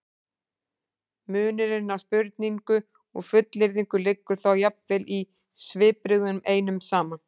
munurinn á spurningu og fullyrðingu liggur þá jafnvel í svipbrigðunum einum saman